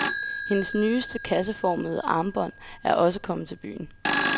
Hendes nyeste kasseformede armbånd er også kommet til byen.